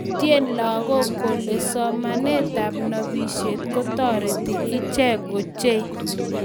utye lagook kole somanetab nobishet kotoreti ichek ochei